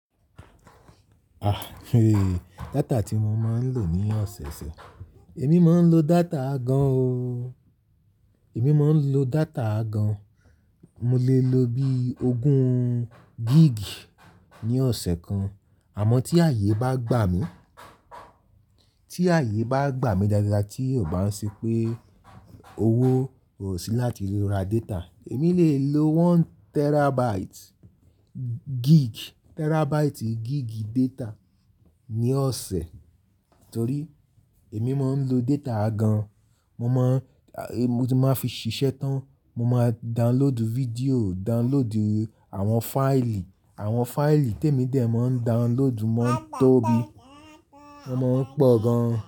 À, data tí mo máa ń lò ní ọ̀sẹ̀ẹ̀sẹ̀, èmi máa ń lo data gan o. Èmi máa ń lo data gan, mo lè lo bí ogún gig ní ọ̀sẹ̀ kan. Àmọ́ tí ààyè bá gbà mí, tí ààyè bá gbà mí dáadáa tí kò bá ṣe pé owó ò sí láti lè ra data, èmi lè lo one terabyte gig, terabyte gig data ní ọ̀sẹ̀. Nítorí èmi máa ń lo data gan, mo máa ń fi ṣiṣẹ́ tán, mo máa download video, download àwọn fáìlì, àwọn fáìlì tèmi dè mó ń download mó ń tóbi, wọ́n máa ń pọ̀ gan.